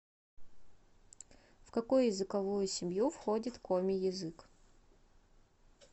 в какую языковую семью входит коми язык